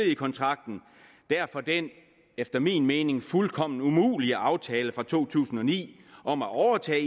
i kontrakten derfor den efter min mening fuldkommen umulige aftale fra to tusind og ni om at overtage